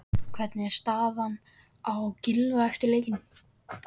Hvernig er staðan á Gylfa eftir leikinn?